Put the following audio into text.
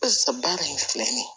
Barisa baara in filɛ nin ye